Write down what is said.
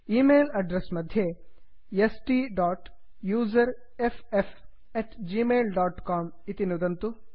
email address मध्ये STUSERFFgmailcom S T dot user F F at G mail dot com इति नुदन्तु